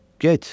Get!